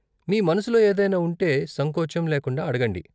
మీ మనసులో ఏదైనా ఉంటే సంకోచం లేకుండా అడగండి.